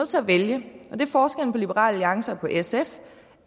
til at vælge forskellen på liberal alliance og sf